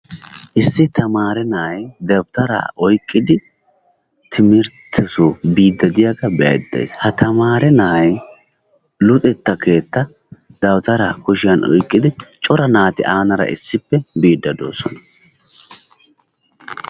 Issi tamaare na'ay dabitara oyqqidi timirtte soo biidi diyaagaa be'ayida days. Ha tamaa na'ay luxetta keetta dawuttara kushshiyan oyqqidi cora naati annara issippe biide doosona.